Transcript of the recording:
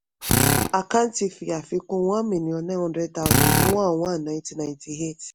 àkáǹtì fi àfikún one million nine hundred thousand ní one one nineteen ninety-eight